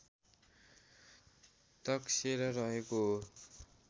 तकसेरा रहेको हो